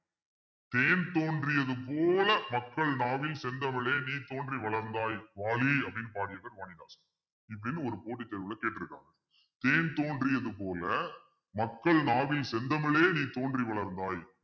தேன் தோன்றியது போல மக்கள் நாவில் செந்தமிழே நீ தோன்றி வளர்ந்தாய் வாழி அப்படின்னு பாடியிருப்பார் வாணிதாசன் இப்படின்னு ஒரு போட்டி தேர்வுல கேட்டிருக்காங்க தேன் தோன்றியது போல மக்கள் நாவில் செந்தமிழே நீ தோன்றி வளர்ந்தாய்